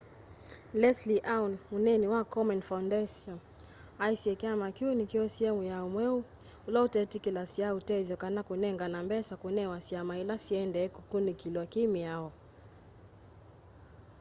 leslie aun mũneeni wa komen foundation aisye kyama kĩu nĩkyosie mwĩao mweũ ũla ũtetĩkĩlasya ũtethyo kana kũnengane mbesa kũnewe syama ila syendee kũkunĩkĩlwa kĩ mĩao